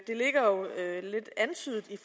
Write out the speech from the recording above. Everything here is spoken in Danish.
det ligger jo lidt antydet i